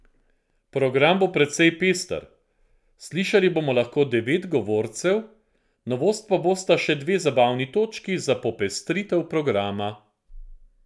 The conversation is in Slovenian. Program bo precej pester, slišali bomo lahko devet govorcev, novost pa bosta še dve zabavni točki za popestritev programa.